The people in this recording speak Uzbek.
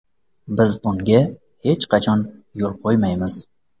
Biz bunga hech qachon yo‘l qo‘ymaymiz.